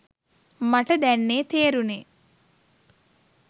මට දැන්නේ තේරුනේ